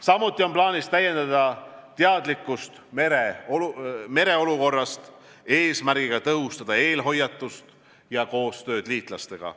Samuti on plaanis täiendada teadlikkust mereolukorrast, eesmärgiga tõhustada eelhoiatust ja koostööd liitlastega.